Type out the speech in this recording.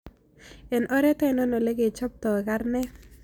Eng' oret ainon ole kechobtoi karnet